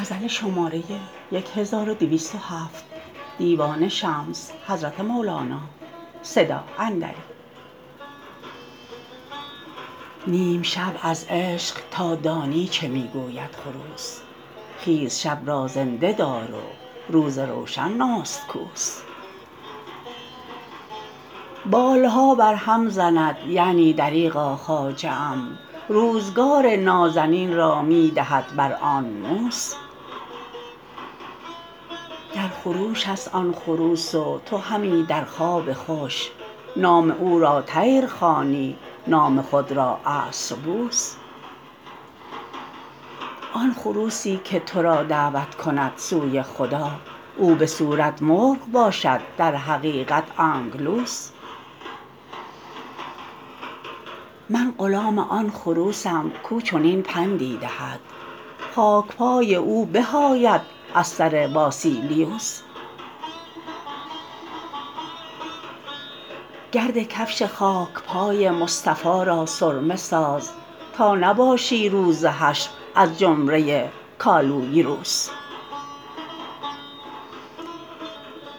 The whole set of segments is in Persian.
نیم شب از عشق تا دانی چه می گوید خروس خیز شب را زنده دار و روز روشن نستکوس پرها بر هم زند یعنی دریغا خواجه ام روزگار نازنین را می دهد بر آنموس در خروش است آن خروس و تو همی در خواب خوش نام او را طیر خوانی نام خود را آنترپوس آن خروسی که تو را دعوت کند سوی خدا او به صورت مرغ باشد در حقیقت انگلوس من غلام آن خروسم کو چنین پندی دهد خاک پای او به آید از سر واسلیوس گرد کفش خاک پای مصطفی را سرمه ساز تا نباشی روز حشر از جمله کالویروس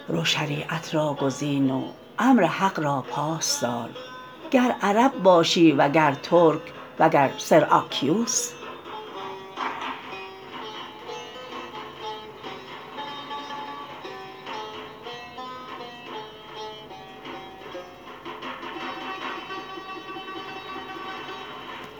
رو شریعت را گزین و امر حق را پاس دار گر عرب باشی و گر ترک و وگر سراکنوس